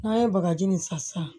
N'an ye bagaji nin san sisan